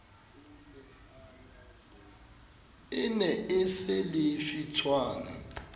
e ne e se lefitshwana